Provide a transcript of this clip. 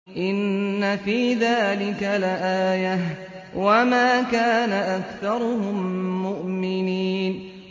إِنَّ فِي ذَٰلِكَ لَآيَةً ۖ وَمَا كَانَ أَكْثَرُهُم مُّؤْمِنِينَ